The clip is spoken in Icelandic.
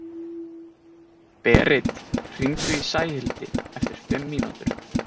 Berit, hringdu í Sæhildi eftir fimm mínútur.